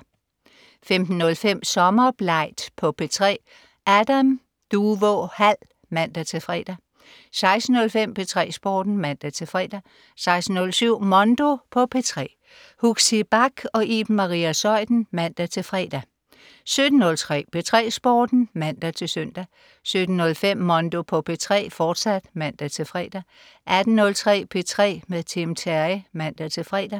15.05 Sommerblegt på P3. Adam Duvå Hall (man-fre) 16.05 P3 Sporten (man-fre) 16.07 Mondo på P3. Huxi Bach og Iben Maria Zeuthen (man-fre) 17.03 P3 Sporten (man-søn) 17.05 Mondo på P3, fortsat (man-fre) 18.03 P3 med Tim Terry (man-fre)